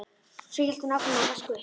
Svo hélt hún áfram að vaska upp.